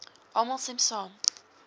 almal stem saam